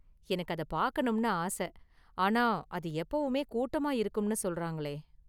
எனக்கு அத பார்க்கனும்னு ஆச, ஆனா, அது எப்பவுமே கூட்டமா இருக்கும்னு சொல்றாங்களே.